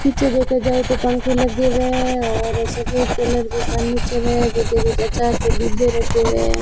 पीछे देखा जाए तो पंखे लगे हुए हैं और सफेद कलर की फर्नीचर है पीछे कुछ आचार के डिब्बे रखे हुए हैं।